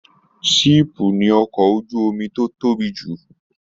Siipu ní ọkọ ojú omi tó tóbi jù.